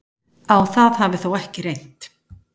Á það hafi þó ekki reynt